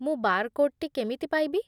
ମୁଁ ବାରକୋଡ୍‌ଟି କେମିତି ପାଇବି ?